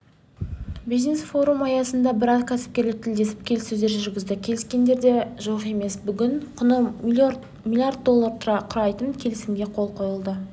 бизнес-форум аясында біраз кәсіпкерлер тілдесіп келіссөздер жүргізді келіскендер де жоқ емес бүгін құны млрд долларды құрайтын келісімге қол қойылды құжаттар сан